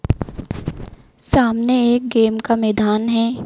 सामने एक गेम का मैदान है।